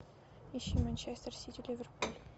ищи манчестер сити ливерпуль